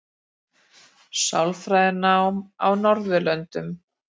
Sálfræðinám á Norðurlöndum.